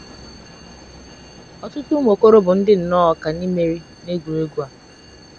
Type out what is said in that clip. Ọtụtụ ụmụ okoro bụ ndi nnọọ ọkà n’imeri “ n’egwuregwu ” a.